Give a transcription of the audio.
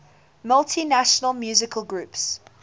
multinational musical groups